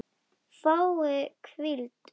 Fái hvíld?